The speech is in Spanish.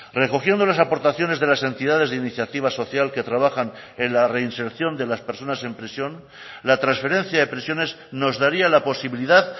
recogiendo las aportaciones de las entidades de iniciativa social que trabajan en la reinserción de las personas en prisión la transferencia de prisiones nos daría la posibilidad